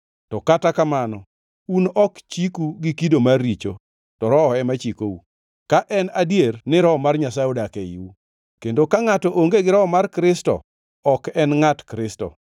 To kata kamano, un ok chiku gi kido mar richo, to Roho ema chikou, ka en adier ni Roho mar Nyasaye odak eiu. Kendo ka ngʼato onge gi Roho mar Kristo ok en ngʼat Kristo.